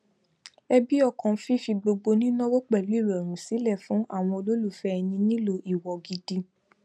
ẹbi ọkàn fífi gbogbo nínáwo pẹlú ìrọrùn sílẹ fún àwọn olólùfẹ ẹni nílò ìwọ gidi